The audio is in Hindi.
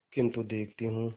किन्तु देखती हूँ